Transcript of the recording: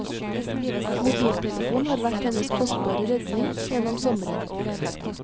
Mobiltelefon har vært hennes kostbare redning gjennom sommeren.